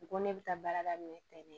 U ko ne bɛ taa baara daminɛ tɛ ne